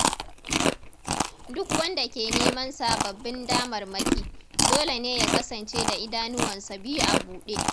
Duk wanda ke neman sababbin damarmaki, dole ne ya kasance da idanuwansa biyu a buɗe.